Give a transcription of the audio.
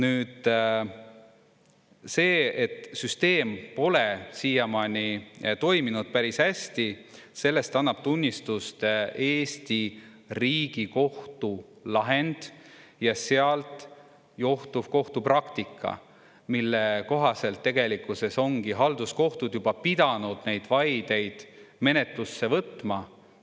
Sellest, et süsteem pole siiamaani toiminud päris hästi, annab tunnistust Eesti Riigikohtu lahend ja sealt johtuv kohtupraktika, mille kohaselt tegelikkuses ongi halduskohtud juba pidanud neid vaideid menetlusse võtma.